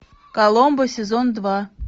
коломбо сезон два